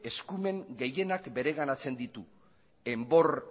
eskumen gehienak bereganatzen ditu enbor